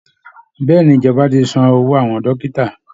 Bẹ́ẹ̀ ni, ìjọba ti san owó àwọn dọ́kítà